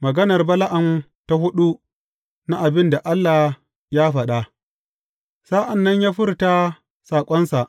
Maganar Bala’am ta huɗu na abin da Allah ya faɗa Sa’an nan ya furta saƙonsa.